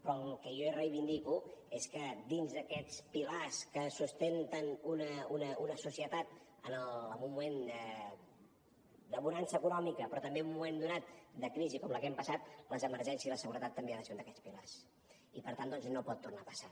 però el que jo reivindico és que dins d’aquests pilars que sustenten una societat en un moment de bonança econòmica però també en un moment donat de crisi com la que hem passat les emergències i la seguretat també han de ser un d’aquests pilars i per tant doncs no pot tornar a passar